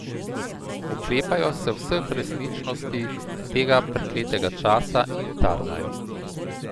Oklepajo se vseh resničnosti tega prekletega časa in tarnajo.